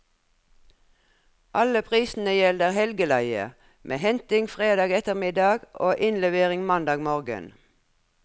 Alle prisene gjelder helgeleie, med henting fredag ettermiddag og innlevering mandag morgen.